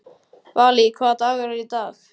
Valý, hvaða dagur er í dag?